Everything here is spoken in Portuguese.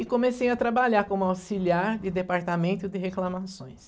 E comecei a trabalhar como auxiliar de departamento de reclamações.